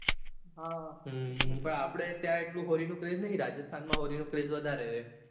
હા હમ પણ આપડે craze નઈ રાજસ્થાનમાં હોળીનો ક્રેઝ વધારે છે